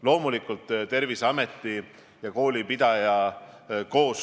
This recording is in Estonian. Ka mina püüan oma igapäevase käitumise abil hoida immuunsust nii tugevana, kui see on vähegi võimalik.